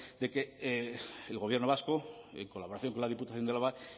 de que el gobierno vasco en colaboración con la diputación de álava